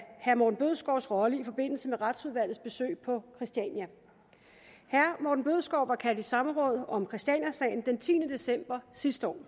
herre morten bødskovs rolle i forbindelse med retsudvalgets besøg på christiania herre morten bødskov var kaldt i samråd om christianiasagen den tiende december sidste år